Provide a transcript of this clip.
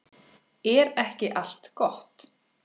Er ekki allt gott?